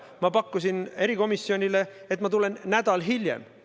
Ma pakkusin erikomisjonile, et ma tulen nädal hiljem.